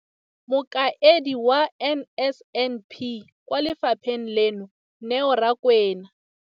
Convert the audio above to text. Mokaedi wa NSNP kwa lefapheng leno, Neo Rakwena.